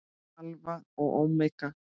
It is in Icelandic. Alfa og ómega.